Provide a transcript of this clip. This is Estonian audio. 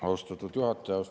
Austatud juhataja!